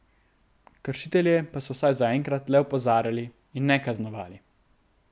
Kršitelje pa so vsaj zaenkrat le opozarjali in ne kaznovali.